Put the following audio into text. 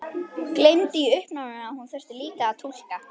Gleymdi í uppnáminu að hún þurfti líka að túlka.